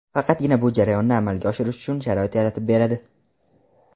faqatgina bu jarayonni amalga oshirish uchun sharoit yaratib beradi.